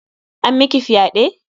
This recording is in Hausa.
An miki fyaɗe?